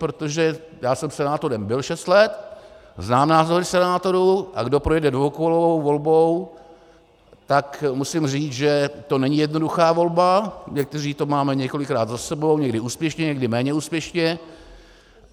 Protože já jsem senátorem byl šest let, znám názory senátorů, a kdo projde dvoukolovou volbou, tak musím říct, že to není jednoduchá volba, někteří to máme několikrát za sebou, někdy úspěšně, někdy méně úspěšně.